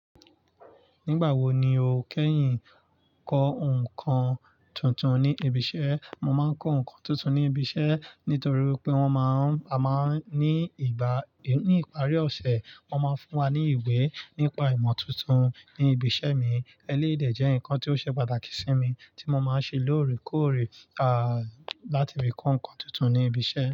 Nígbà wo ni o kẹ́yìn kọ ǹkan tuntun ní ibiṣẹ́? Mo máa ń kọ ǹkan tuntun ní ibiṣẹ́ nítorí pé wọ́n máa ń, a máa ń ní ìgbà, ní ìparí ọ̀sẹ̀ wọ́n máa ń fún wa ní ìwé nípa ìmọ̀ tuntun ní ibiṣẹ́ mi. Elédè jẹ́ ǹkan tí ó ṣe pàtàkì sí mi tí mo máa ń ṣe lóòrèkóòrè, à, láti rí kọ ǹkan tuntun ní ibiṣẹ́.